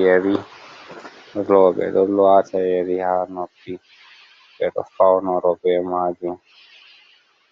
Yeri roɓe ɗo wata yeri ha noppi, ɓeɗo faunuro be majum